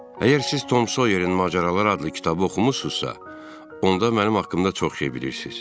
Əgər siz Tom Soyerin macəraları adlı kitabı oxumusunuzsa, onda mənim haqqımda çox şey bilirsiz.